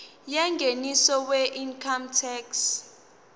yengeniso weincome tax